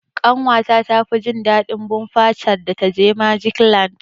Ƙanwa ta tafi jin daɗin bumper car da ta je magic land.